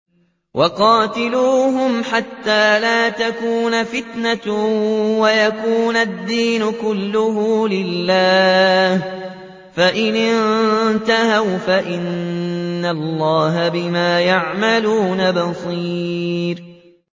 وَقَاتِلُوهُمْ حَتَّىٰ لَا تَكُونَ فِتْنَةٌ وَيَكُونَ الدِّينُ كُلُّهُ لِلَّهِ ۚ فَإِنِ انتَهَوْا فَإِنَّ اللَّهَ بِمَا يَعْمَلُونَ بَصِيرٌ